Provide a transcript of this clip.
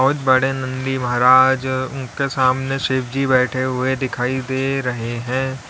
बहुत बड़े नंदी महाराज उनके सामने शिव जी बैठे हुए दिखाई दे रहे हैं।